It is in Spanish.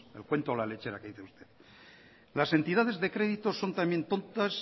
el cuento de la lechera que dice usted las entidades de crédito son también tontas